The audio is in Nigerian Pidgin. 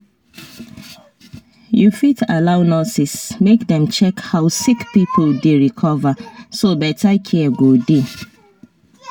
you fit allow nurses make dem check how sick people dey recover so better care go dey.